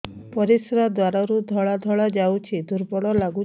ପରିଶ୍ରା ଦ୍ୱାର ରୁ ଧଳା ଧଳା ଯାଉଚି ଦୁର୍ବଳ ଲାଗୁଚି